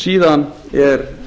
síðan er